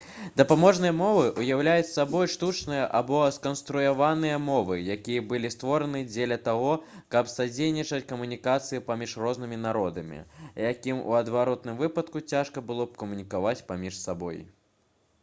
дапаможныя мовы ўяўляюць сабой штучныя або сканструяваныя мовы якія былі створаны дзеля таго каб садзейнічаць камунікацыі паміж рознымі народамі якім у адваротным выпадку цяжка было б камунікаваць паміж сабой